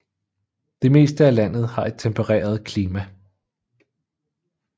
Det meste af landet har et tempereret klima